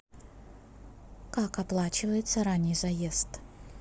как оплачивается ранний заезд